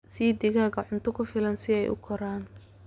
Sii digaagga cunto ku filan si ay u koraan.